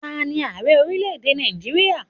Ta ní Ààrẹ orílẹ̀ èdè Nàìjíríà?